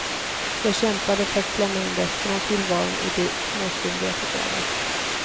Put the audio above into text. Jag kämpade för att klämma in resten av tillvaron i de småstunder jag fick över.